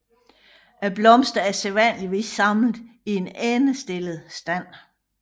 Blomsterne er sædvanligvis samlet i en endestillet stand